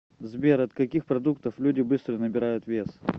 сбер от каких продуктов люди быстро набирают вес